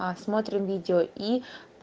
а смотрим видео и